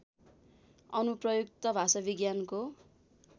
अनुप्रयुक्त भाषाविज्ञानको